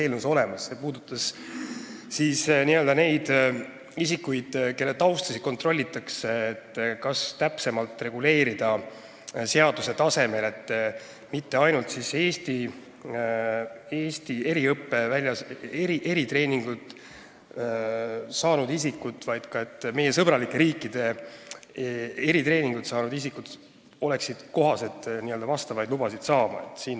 Ettepanek puudutas neid isikuid, kelle tausta kontrollitakse – kas reguleerida täpsemalt seaduse tasemel, et mitte ainult Eestis eriõpet, eritreeningut saanud isikud, vaid ka meile sõbralikes riikides eritreeningut saanud isikud võiksid vastavaid lubasid saada.